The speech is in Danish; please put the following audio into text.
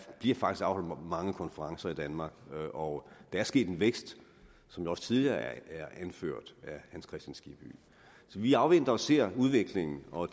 bliver faktisk afholdt mange konferencer i danmark og der er sket en vækst som det også tidligere er anført af herre hans kristian skibby så vi afventer og ser udviklingen og